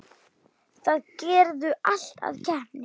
Biður um Beru.